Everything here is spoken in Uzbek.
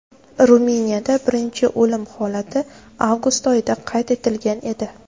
Ruminiyada birinchi o‘lim holati avgust oyida qayd etilgan edi.